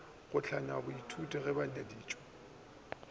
go hlangwe boithuti bo ngwadišwe